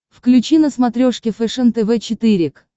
включи на смотрешке фэшен тв четыре к